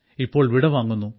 ഇപ്പോൾ വിടവാങ്ങുന്നു